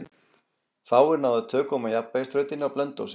Fáir náðu tökum á jafnvægisþrautinni á Blönduósi.